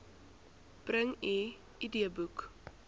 bring u idboek